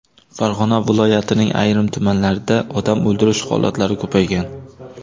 Farg‘ona viloyatining ayrim tumanlarida odam o‘ldirish holatlari ko‘paygan.